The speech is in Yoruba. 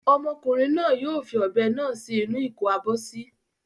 Ọmọkùnrin náà yóò fi ọ̀bẹ náà sí inú ìkó-abọ́sí.